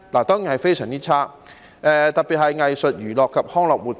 當然是非常差，特別是藝術、娛樂及康樂活動業。